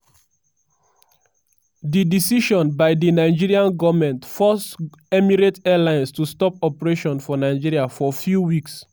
di decision by di nigerian goment force emirates airlines to stop operations for nigeria for few weeks.